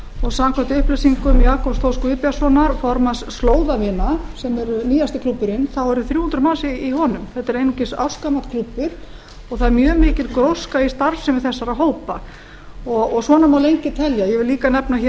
og samkvæmt upplýsingum jakobs þór guðbjartssonar formanns slóðavina sem er nýjasti klúbburinn þá eru þrjú hundruð manns í honum þetta er einungis ársgamall klúbbur og það er mjög mikil gróska í starfsemi þessara hópa svona mál lengi telja ég vil líka nefna hér